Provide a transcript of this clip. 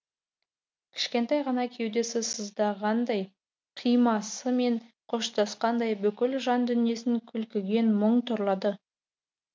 кішкентай ғана кеудесі сыздағандай қимасымен қоштасқандай бүкіл жан дүниесін кілкіген мұң торлады